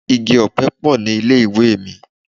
Igi-ọpẹ pọ̀ ní ilé-ìwé mi.